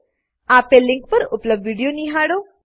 આપેલ લીંક પર ઉપલબ્ધ વિડીયો નિહાળો